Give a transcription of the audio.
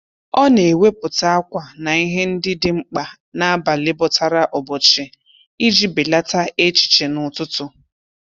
Ọ na-ewepụta ákwà na ihe ndị dị mkpa n'abalị bọtara ụbọchị iji belata echiche n'ụtụtụ.